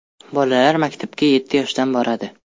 Bolalar maktabga yetti yoshdan boradi.